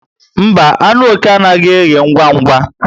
Mba, anụ oké anaghị eghe ngwa ngwa